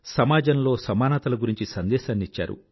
సమాజంలో సమానతల గురించి సందేశానిచ్చారు